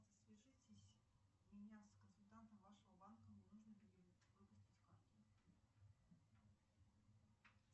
свяжитесь меня с консультантом вашего банка мне нужно перевыпустить карту